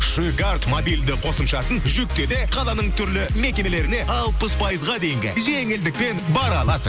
шикард мобильді қосымшасын жүкте де қаланың түрлі мекемелеріне алпыс пайызға дейінгі жеңілдікпен бара аласың